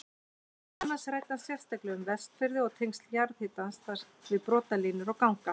Meðal annars ræddi hann sérstaklega um Vestfirði og tengsl jarðhitans þar við brotlínur og ganga.